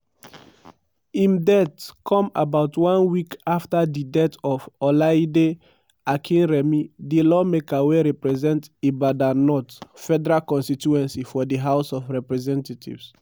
im death come about one week afta di death of olaide akinremi di lawmaker wey represent ibadan north federal constituency for di house of representatives.